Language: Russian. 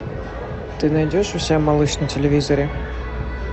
ты найдешь у себя малыш на телевизоре